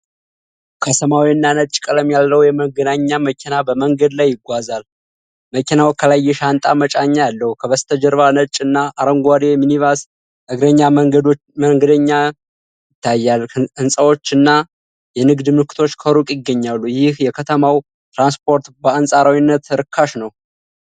ከሰማያዊና ነጭ ቀለም ያለው የመንገደኛ መኪና በመንገድ ላይ ይጓዛል። መኪናው ከላይ የሻንጣ መጫኛ አለው። ከበስተጀርባ ነጭ እና አረንጓዴ ሚኒባስና እግረኛ መንገደኞች ይታያሉ። ሕንፃዎች እና የንግድ ምልክቶች ከሩቅ ይገኛሉ። ይህ የከተማው ትራንስፖርት በአንፃራዊነት ርካሽ ነው?